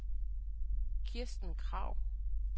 Kirsten Krag